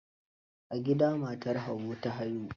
A gida matar Habu ta haihu?